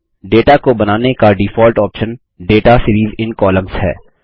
data को बनाने का default option data series in columns है